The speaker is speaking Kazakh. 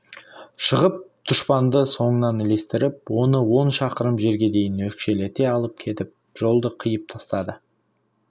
шығып дұшпанды соңынан ілестіріп оны он шақырым жерге дейін өкшелете алып кетіп жолды қиып тастады